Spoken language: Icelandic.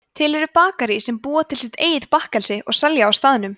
til eru bakarí sem búa til sitt eigið bakkelsi og selja á staðnum